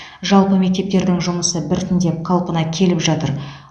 жалпы мектептердің жұмысы біртіндеп қалпына келіп жатыр